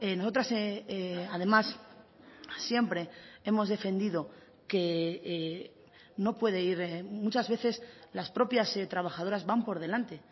nosotras además siempre hemos defendido que no puede ir muchas veces las propias trabajadoras van por delante